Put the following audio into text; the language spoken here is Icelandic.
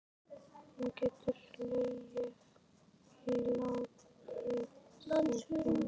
Hún getur legið og látið sig dreyma.